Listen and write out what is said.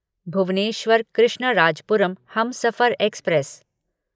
Bhubaneswar Krishnarajapuram Humsafar express